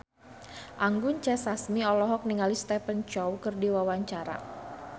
Anggun C. Sasmi olohok ningali Stephen Chow keur diwawancara